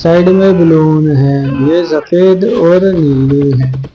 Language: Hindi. साइड में बैलून है ये सफेद और नीली है।